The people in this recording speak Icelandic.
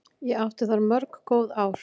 Ég átti þar mörg góð ár.